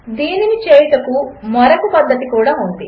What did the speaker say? దీనిని చేయుటకు మరొక పద్ధతి కూడా ఉంది